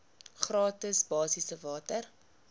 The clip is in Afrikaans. gratis basiese water